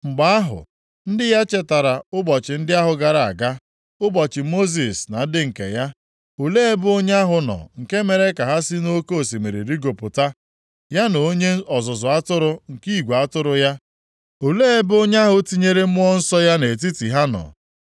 Mgbe ahụ, ndị ya chetara ụbọchị ndị ahụ gara aga, ụbọchị Mosis na ndị nke ya. Olee ebe onye ahụ nọ nke mere ka ha si nʼoke osimiri rigopụta, ya na onye ọzụzụ atụrụ nke igwe atụrụ ya? Olee ebe onye ahụ tinyere Mmụọ Nsọ ya nʼetiti ha nọ.